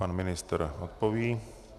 Pan ministr odpoví.